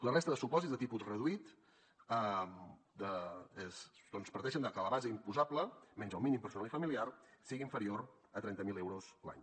la resta de supòsits de tipus reduït doncs parteixen de que la base imposable menys el mínim personal i familiar sigui inferior a trenta mil euros l’any